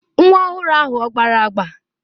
Nwa ọhụrụ ahụ ọ gbara agba?